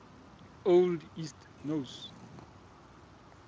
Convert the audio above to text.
old east norse